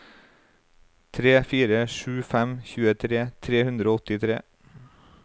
tre fire sju fem tjuetre tre hundre og åttitre